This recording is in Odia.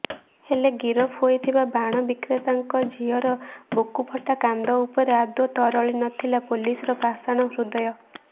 ହେଲେ ଗିରଫ ହୋଇଥିବା ବାଣ ବିକ୍ରେତାଙ୍କ ଝିଅର ବୁକୁଫଟା କାନ୍ଦ ଉପରେ ଆଦୌ ତରଳିନଥିଲା ପୋଲିସର ପାଷାଣ ହୃଦୟ